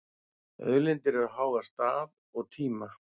Auðlindir eru háðar stað og tíma.